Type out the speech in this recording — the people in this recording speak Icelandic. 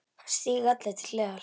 Það stíga allir til hliðar.